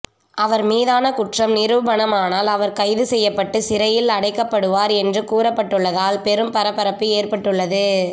அவர் மீதான குற்றம் நிரூபணம் ஆனால் அவர் கைது செய்யப்பட்டு சிறையில் அடைக்கப்படுவார் என்று கூறப்பட்டுள்ளதால் பெரும் பரபரப்பு ஏற்பட்டுள்ளது